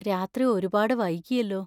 രാത്രി ഒരുപാട് വൈകിയല്ലോ.